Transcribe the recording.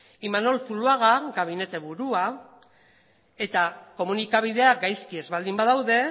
imanol zuluaga gabinete burua eta komunikabideak gaizki ez baldin badaude